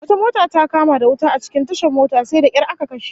Wata mota ta kama da wuta a cikin tashar mota, sai da kyar aka kashe